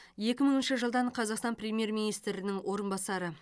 екі мыңыншы жылдан қазақстан премьер министрінің орынбасары